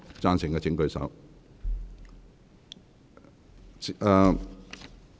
贊成的請舉手。